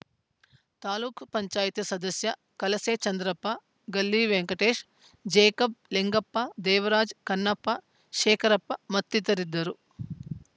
ತಾಲೂಕ್ ಪಂಚಾಯತ್ ಸದಸ್ಯ ಕಲಸೆ ಚಂದ್ರಪ್ಪ ಗಲ್ಲಿ ವೆಂಕಟೇಶ್‌ ಜೇಕಬ್‌ ಲಿಂಗಪ್ಪ ದೇವರಾಜ್‌ ಕನ್ನಪ್ಪ ಶೇಖರಪ್ಪ ಮತ್ತಿತರರಿದ್ದರು